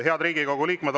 Head Riigikogu liikmed!